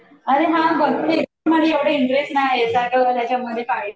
अरे हा बघते बट मला एवढा इंटरेस्ट नाहीये